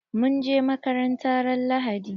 Mun je makaranta ran lahadi.